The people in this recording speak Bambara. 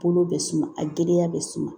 Bolo bɛ suma a gɛlɛya bɛ suma